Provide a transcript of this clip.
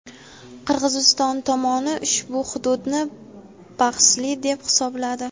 Qirg‘iziston tomoni ushbu hududni bahsli deb hisobladi.